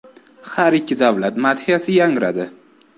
Har ikki davlat madhiyasi yangradi.